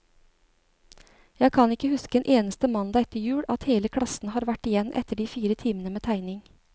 Jeg kan ikke huske en eneste mandag etter jul, at hele klassen har vært igjen etter de fire timene med tegning.